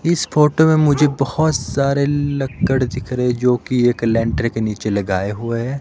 इस फोटो में मुझे बहुत सारे लकड़ दिख रहे जो कि एक लेंटर के नीचे लगाए हुए हैं।